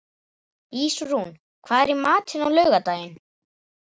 Ísrún, hvað er í matinn á laugardaginn?